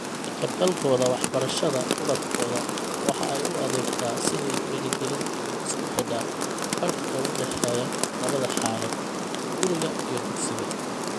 Ka-qaybgalkooda waxbarashada ubadkooda waxa ay u adeegtaa sidii dhiirigelin isku xidha farqiga u dhexeeya labada xaalad, guriga iyo dugsiga.